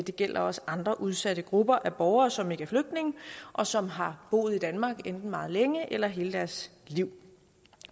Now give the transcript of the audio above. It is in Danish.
det gælder også andre udsatte grupper af borgere som ikke er flygtninge og som har boet i danmark enten meget længe eller hele deres liv